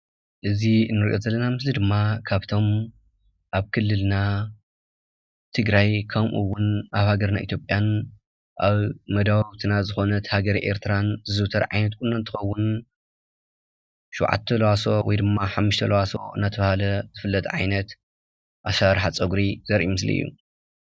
እዚ እንሪኦ ዘለና ምስሊ ድማ ካብቶም አብ ክልልና ትግራይ ከምኡ እውን አብ ሃገርና ኢትጲያን አብ መዳውውትና ዝኾነት ሃገር ኤርትራን ዝዝውተር ዓይነት ቁኖ እንትኸውን ሽውዓተ አልባሶ ወይ ድማ ሓሙሽት አልባሶ እናተባህለ ዝፍለጥ ዓይነት አስራራሓ ፀጉሪ ዘሪኢ ምስሊ እዩ፡፡